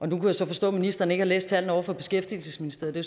jeg så forstå at ministeren ikke har læst tallene over fra beskæftigelsesministeriet og